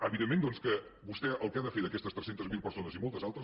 evidentment doncs que vostè el que ha de fer per aquestes tres cents miler persones i moltes altres